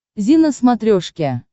зи на смотрешке